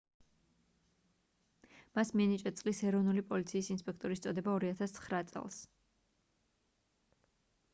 მას მიენიჭა წლის ეროვნული პოლიციის ინსპექტორის წოდება 2009 წელს